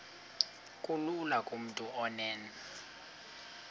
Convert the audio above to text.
kulula kumntu onen